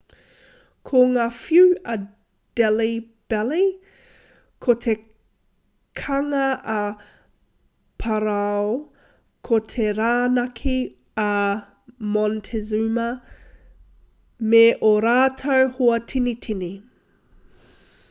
ko ngā whiu a delhi belly ko te kanga a parao ko te rānaki a montezuma me ō rātou hoa tinitini